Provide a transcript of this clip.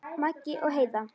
Maggi og Heiða.